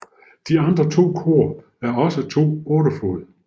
De andre to kor er også to 8 fod